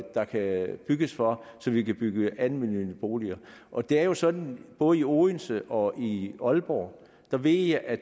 der kan bygges på så vi kan bygge almennyttige boliger og det er jo sådan både i odense og i aalborg ved jeg at